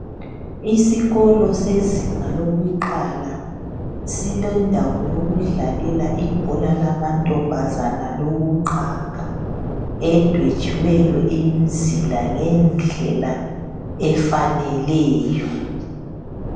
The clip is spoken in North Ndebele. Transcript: Isikolo sezinga lokuqala silendawo yokudlalela ibhola lamantombazana lokuqaga, edwetshiweyo imizila ngendlela efaneleyo.